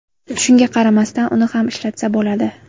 Shunga qaramasdan uni ham ishlatsa bo‘ladi.